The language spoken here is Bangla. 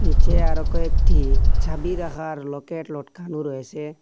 নীচে আরো কয়েকটি চাবি রাখার লকেট লটকানো রয়েসে।